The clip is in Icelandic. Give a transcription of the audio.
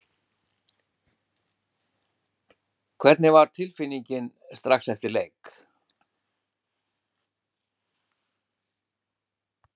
Hvernig var tilfinningin strax eftir leik?